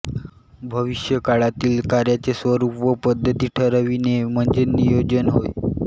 भविष्यकाळातील कार्याचे स्वरूप व पद्धती ठरविणे म्हणजे नियोजन होय